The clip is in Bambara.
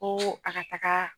Ko a ka taga